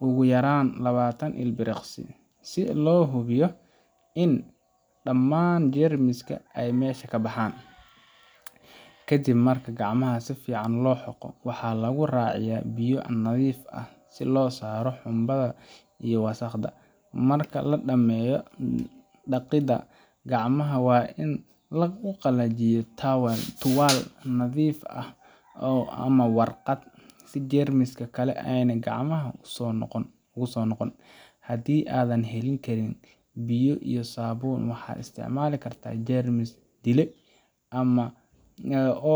ugu yaraan labatan ilbiriqsi, si loo hubiyo in dhammaan jeermiska ay meesha ka baxaan. Ka dib marka gacmaha si fiican loo xoqo, waxaa lagu raaciyaa biyo nadiif ah si loo saaro xumbada iyo wasakhda. Marka la dhammeeyo dhaqidda, gacmaha waa in lagu qallajiyaa tuwaal nadiif ah ama warqad si jeermis kale aanay gacmaha ugu soo noqon. Haddii aadan heli karin biyo iyo saabuun, waxaad isticmaali kartaa jeermis dile.